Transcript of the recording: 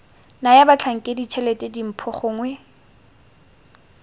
naya batlhankedi tshelete dimpho gongwe